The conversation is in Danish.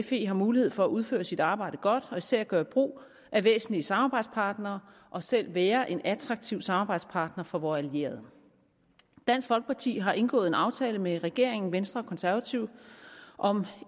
fe har mulighed for at udføre sit arbejde godt og især at gøre brug af væsentlige samarbejdspartnere og selv være en attraktiv samarbejdspartner for vore allierede dansk folkeparti har indgået en aftale med regeringen venstre og konservative om